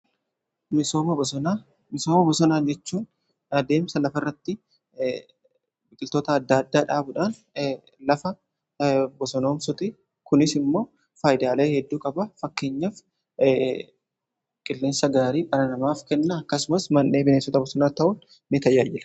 misooma bosonaa jechuun adeemsa lafa irratti biqiltoota adda addaa dhaabudhaan lafa bosonomsuuti. kunis immoo faayidaalee hedduu qaba fakkeenyaaf qilleensa gaarii dhala namaaf kennaa akkasumas man'ee bineensota bosonaa ta'uun ni tajaajila.